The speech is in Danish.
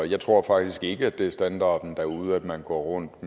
jeg tror faktisk ikke at det er standarden derude at man går rundt